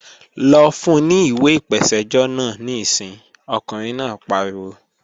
Lọ fun ní ìwé ìpèsẹ́jọ́ náà níìsín, ọkùnrin náà pariwo!